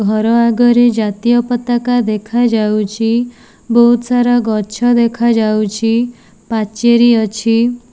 ଘର ଆଗରେ ଜାତୀୟ ପତାକା ଦେଖାଯାଉଛି। ବୋହୁତ ସାରା ଗଛ ଦେଖାଯାଉଛି। ପାଚେରୀ ଅଛି।